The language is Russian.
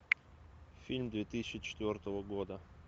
фильм две тысячи четвертого года